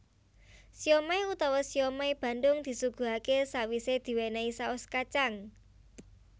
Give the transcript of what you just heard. Siomai utawa siomai Bandung disuguhaké sawisé diwénéhi saos kacang